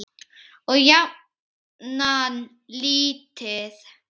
Og jafnan lítið.